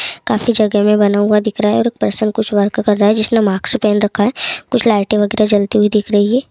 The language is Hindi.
काफी जगह में बना हुआ दिख रहा है और पर्सन कुछ वर्क कर रहा है जिसने मास्क पहन रखा है कुछ लाइट वगैरा चलती हुई दिख रही है।